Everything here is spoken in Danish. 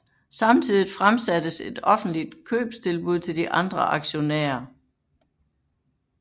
Samtidigt fremsattes et offentligt købstilbud til de andre aktionærer